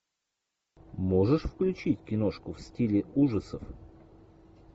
можешь включить киношку в стиле ужасов